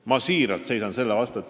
Ma seisan siiralt selle vastu.